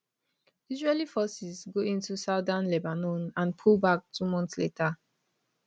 israeli forces go into southern lebanon and pull back two months later